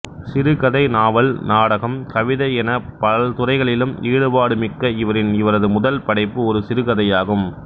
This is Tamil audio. சிறுகதை நாவல் நாடகம் கவிதை என பல்துறைகளிலும் ஈடுபாடுமிக்க இவரின் இவரது முதல் படைப்பு ஒரு சிறுகதையாகும்